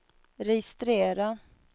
registrera